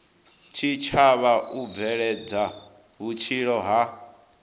tshitshavha u bveledza vhutshilo ha